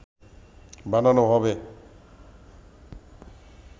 বানানো হবে